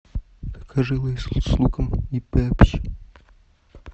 закажи лейс с луком и пепси